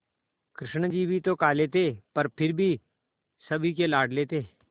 कृष्ण जी भी तो काले थे पर फिर भी सभी के लाडले थे